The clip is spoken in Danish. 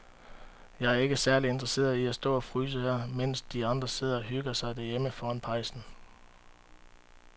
Jeg er ikke særlig interesseret i at stå og fryse her, mens de andre sidder og hygger sig derhjemme foran pejsen.